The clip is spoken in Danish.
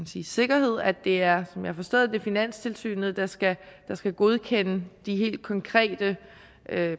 sige sikkerhed at det er som jeg har forstået det finanstilsynet der skal skal godkende de helt konkrete